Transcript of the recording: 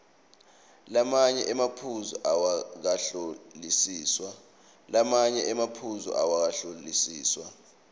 lamanye emaphuzu awakahlolisiswa